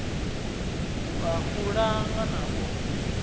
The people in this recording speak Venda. wua u langa na u